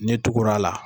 N'i tugura la